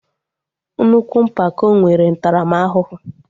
Nnukwu mpako nwere ntaramahụhụ